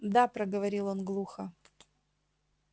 да проговорил он глухо